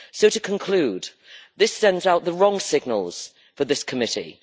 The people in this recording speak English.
To conclude, this sends out the wrong signals for this committee.